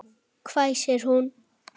hvæsir hún.